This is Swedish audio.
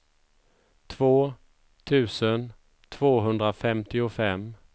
två tusen tvåhundrafemtiofem